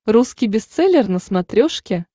русский бестселлер на смотрешке